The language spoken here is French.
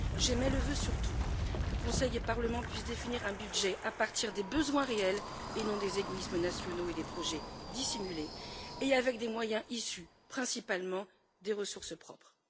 J'émets le vœu surtout que Conseil et Parlement puissent définir un budget à partir des besoins réels et non des égoïsmes nationaux et des projets dissimulés et avec des moyens issus principalement des ressources propres.